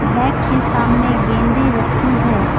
Bat के सामने गेंदे रखी है।